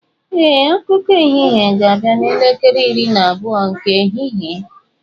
Ee, akụkọ ehihie ga-abịa n'elekere iri na abụọ nke ehihie.